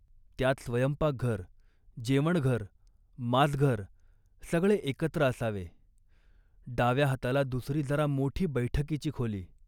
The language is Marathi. त्यात स्वयंपाकघर, जेवणघर, माजघर सगळे एकत्र असावे. डाव्या हाताला दुसरी जरा मोठी बैठकीची खोली